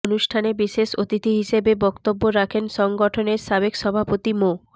অনুষ্ঠানে বিশেষ অতিথি হিসেবে বক্তব্য রাখেন সংগঠনের সাবেক সভাপতি মো